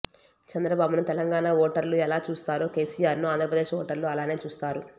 చంద్రబాబును తెలంగాణ ఓటర్లు ఎలా చూస్తారో కేసీఆర్ను ఆంధ్రప్రదేశ్ ఓటర్లు అలానే చూస్తారు